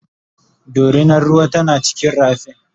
dorinar ruwar tana cikin rafin